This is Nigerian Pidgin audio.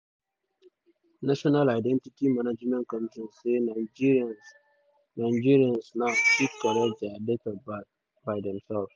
national identity management commission say nigerians nigerians now fit correct dia date of birth by themselves.